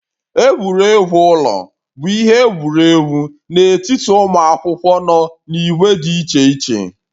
Egwuregwu ụlọ bụ ihe egwuregwu n'etiti ụmụ akwụkwọ nọ n'ìgwè dị iche iche